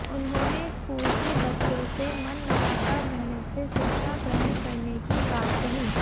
उन्होंने स्कूल के बच्चों से मन लगाकर मेहनत से शिक्षा ग्रहण करने की बात कही